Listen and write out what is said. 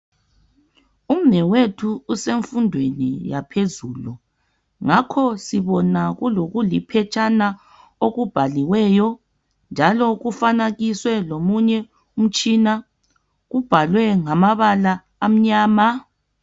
Umnewethu usemfundweni yaphezulu ngakho sibona kulokuliphetshana okubhaliweyo. Njalo kufanakiswe lomunye umtshina, kubhalwe ngamabala amnyama.